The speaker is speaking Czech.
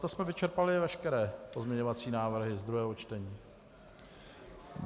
To jsme vyčerpali veškeré pozměňovací návrhy z druhého čtení.